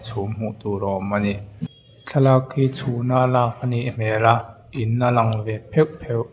chhum hmuh tur a awm a ni thlalak hi chhuna lak a nih hmel a in a lang ve pheuh pheuh.